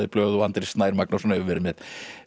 í blöð og Andri Snær Magnason hefur verið með